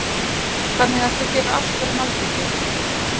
Magnús Hlynur: Þannig að þú gerir allt fyrir malbikið?